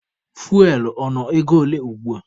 Fuwel ọ nọ ego ole ugbua?